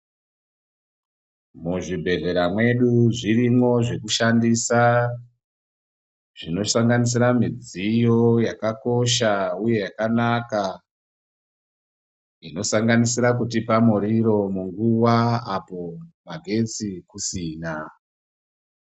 Muzvibhedhlera mwedu zvirimwo zvekushandisa zvinosanganisira midziyo yakakosha uye yakanaka zvinosanganisira kutipa muriro munguwa apo magetsi kusina.